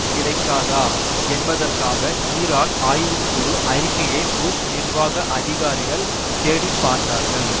கிடைக்காதா என்பதற்காக ஈராக் ஆய்வுக்குழு அறிக்கையை புஷ் நிர்வாக அதிகாரிகள் தேடிப்பார்த்தார்கள்